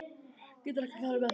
Geturðu ekki farið með þeim?